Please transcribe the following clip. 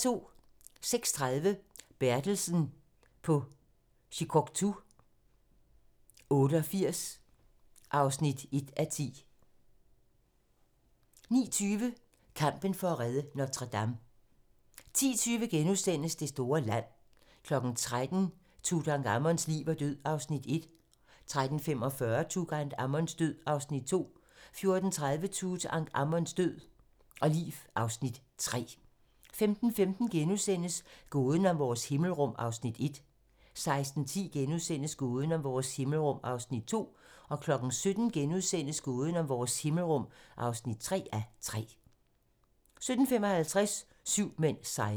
08:30: Bertelsen på Shikoku 88 (1:10) 09:20: Kampen for at redde Notre-Dame 10:20: Det store land * 13:00: Tutankhamons liv og død (Afs. 1) 13:45: Tutankhamons liv og død (Afs. 2) 14:30: Tutankhamons liv og død (Afs. 3) 15:15: Gåden om vores himmelrum (1:3)* 16:10: Gåden om vores himmelrum (2:3)* 17:00: Gåden om vores himmelrum (3:3)* 17:55: Syv mænd sejrer